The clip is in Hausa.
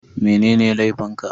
Mene laifin ka?